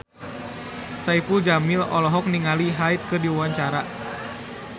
Saipul Jamil olohok ningali Hyde keur diwawancara